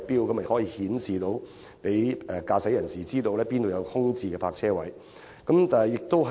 新收費錶可顯示給駕駛者知道，哪裏有空置泊車位。